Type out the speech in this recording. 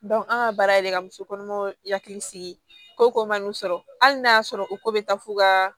an ka baara yɛrɛ ka muso kɔnɔmaw hakili sigi ko ko man'u sɔrɔ hali n'a y'a sɔrɔ u ko bɛ taa f'u ka